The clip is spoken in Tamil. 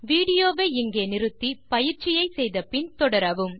வீடியோ வை நிறுத்தி பயிற்சியை முடித்த பின் தொடரவும்